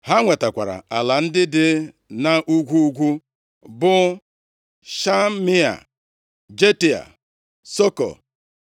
Ha nwetakwara ala ndị dị nʼugwu ugwu bụ, Shamia, Jatịa, Sokoh,